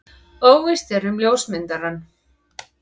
Óvíst er um ljósmyndarann.